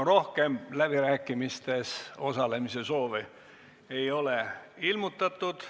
Rohkem läbirääkimistes osalemise soove ei ole ilmutatud.